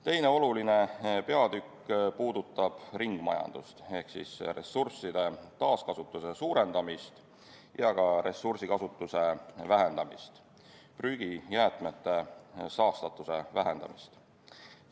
Teine oluline peatükk puudutab ringmajandust ehk ressursside taaskasutuse suurendamist ja ressursikasutuse vähendamist, prügi, jäätmete, saastatuse vähendamist.